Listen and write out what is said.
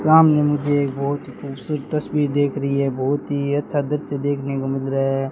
सामने मुझे एक बहुत खूबसूरत तस्वीर देख रही है बहुत ही अच्छा दृश्य देखने को मिल रहा है।